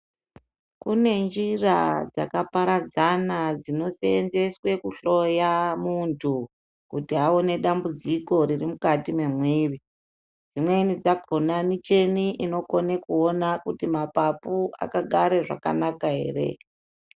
Kune njira dzakaparadzana dzinoseenzeswe kuhloya munthu kuti aone dambudziko riri mukati memwiri dzimweni dzakona micheni inokona kuona kuti mapapu akagare zvakanaka ere.